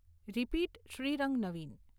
repeat, Shrirang, Navin